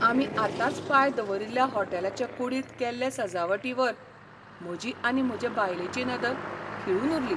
आमी आतांच पांय दवरील्ल्या होटॅलाचे कुडींत केल्ले सजावटीवर म्हजी आनी म्हजे बायलेची नदर खिळून उरली.